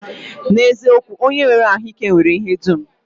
N'eziokwu, onye nwere ahụike nwere ihe dum